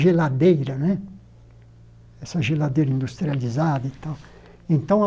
geladeira né essa geladeira industrializada e tal então a.